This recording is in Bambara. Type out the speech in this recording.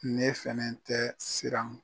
Ne fɛnɛ tɛ siran.